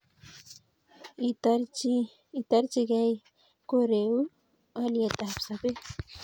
itorchingei koreu olyetab sobeet